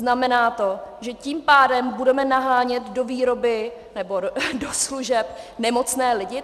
Znamená to, že tím pádem budeme nahánět do výroby nebo do služeb nemocné lidi?